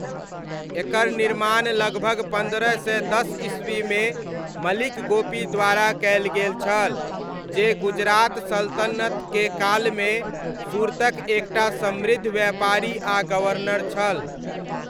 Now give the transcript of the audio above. एकर निर्माण लगभग पन्द्रह सय दस ईस्वीमे मलिक गोपी द्वारा कयल गेल छल, जे गुजरात सल्तनतक कालमे सूरतक एक टा समृद्ध व्यापारी आ गवर्नर छल।